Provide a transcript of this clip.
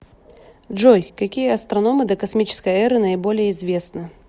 джой какие астрономы докосмической эры наиболее известны